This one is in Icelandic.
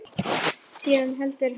Síðan heldur hann áfram.